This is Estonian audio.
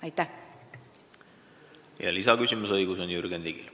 Lisaküsimuse esitamise õigus on Jürgen Ligil.